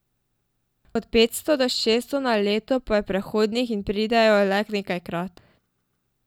Od petsto do šeststo na leto pa je prehodnih in pridejo le nekajkrat.